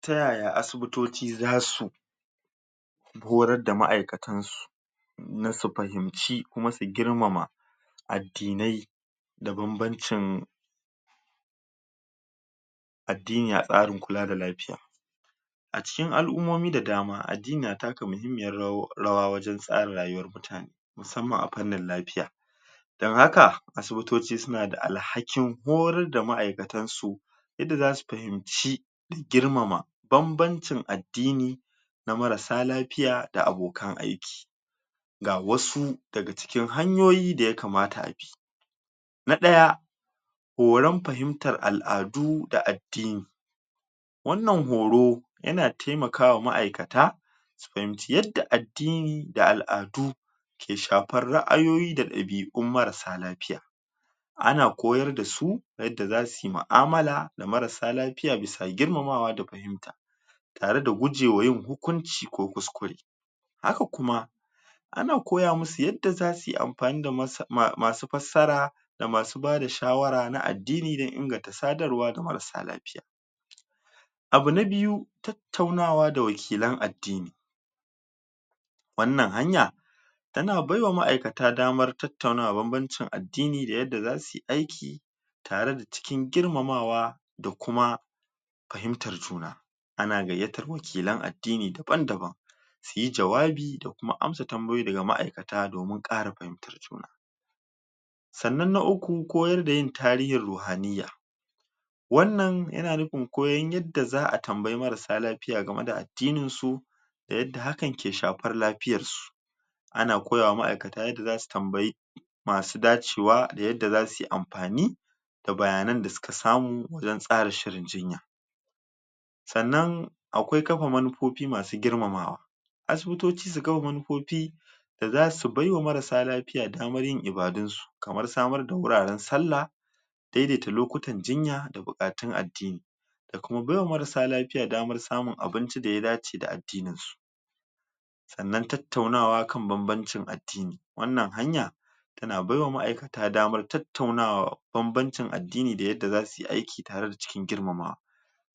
Ta yaya asibitoci zasu horar da ma'aikatan su na su fahimci kuma su girmama addinai da banbancin addini a tsarin kula da lafiya a cikin al'ummomi da dama addini na taka muhimmiyar rawa wajen tsara rayuwar mutane musamman a fannin lafiya dan haka asibitoci suna da alhakin horar da ma'aikatan su yadda zasu fahimci girmama banbancin addini na marasa lafiya da abokan aiki ga wasu daga cikin hanyoyi da yakamata a bi na ɗaya horan fahimtar al'adu da addini wannan horo yana taimaka wa ma'aikata su fahimci yadda addini da al'adu ke shafar ra'ayoyi da ɗabi'un marasa lafiya ana koyar da su yadda zasu yi mu'amala da marasa lafiya bisa girmamawa da fahimta tare da gujewa yin hukunci ko kuskure haka kuma ana koya musu yadda zasu yi amfani da masu fassara da masu bada shawara na addini dan inganta sadarwa ga marasa lafiya abu na biyu, tattaunawa da wakilan addini wannan hanya tana baiwa ma'aikata damar tattaunawa banbancin addini da yadda zasu yi aiki tare da cikin girmamawa da kuma fahimtar juna ana gayyatar wakilan addini daban-daban su yi jawabi da kuma amsa tambayoyi daga ma'aikata domin ƙara fahimtar juna sannan na uku koyar da yin tarihin ruhaniya wannan yana nufin koyan yadda za'a tambayi marasa lafiya game da addinin su da yadda hakan ke shafar lafiyar su ana koya ma ma'aikata yadda zasu tambayi masu dacewa da yadda zasu yi amfani da bayanan da suka samu wajen tsara shirin jinya sannan akwai kafa manufofi masu girmamawa asibitoci su kafa manufofi da zasu baiwa marasa lafiya damar yin ibadun su kamar samar da wuraren sallah daidaita lokutan jinya da buƙatun addini da kuma baiwa marasa lafiya damar samun abinci da ya dace da addinin su sannan tattaunawa kan banbancin addni, wannan hanya tana baiwa ma'aikata damar tattaunawa banbancin addini da yadda zasu yi aiki tare da cikin girmamawa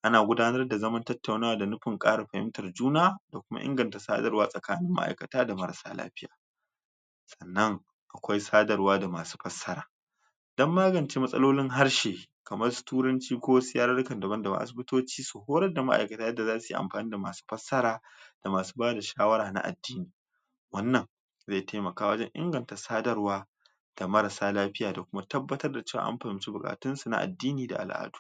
ana gudanar da zaman tattaunawa da nufin ƙara fahimtar juna da kuma inganta sadarwa tsakanin ma'aikata da marasa lafiya sannan akwai sadarwa da masu fassara dan magance matsalolin harshe kamar su turanci ko wasu yarurrukan daban-daban, asibitoci su horar da ma'aikata yadda zasu amfani da masu fassara da masu bada shawara na addini wannan zai taimaka wajen inganta sadarwa da marasa lafiya da kuma tabbatar da cewa an fahimci buƙatun su na addini da al'adu.